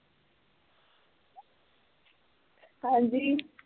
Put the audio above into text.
ਹਾਂਜੀ